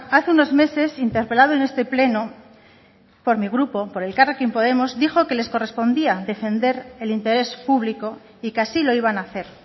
hace unos meses interpelado en este pleno por mi grupo por elkarrekin podemos dijo que les correspondía defender el interés público y que así lo iban a hacer